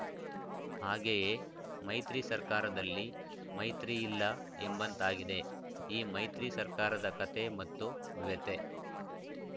ಹಾಗೆಯೇ ಮೈತ್ರಿ ಸರ್ಕಾರದಲ್ಲಿ ಮೈತ್ರಿ ಇಲ್ಲ ಎಂಬಂತಾಗಿದೆ ಈ ಮೈತ್ರಿ ಸರ್ಕಾರದ ಕತೆ ಮತ್ತು ವ್ಯಥೆ